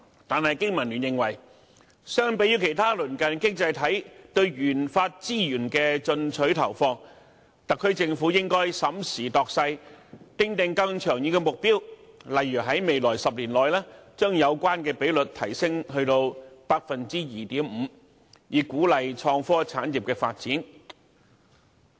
但是，經民聯認為，相比於其他鄰近經濟體對研發資源的進取投放，特區政府應該審時度勢，訂定更長遠的目標，例如在未來10年內把有關比率提升至 2.5%， 以鼓勵創科產業發展。